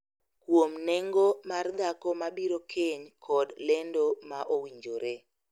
Kuom nengo mar dhako mabiro keny kod lendo ma owinjore